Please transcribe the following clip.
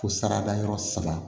Ko saradayɔrɔ saba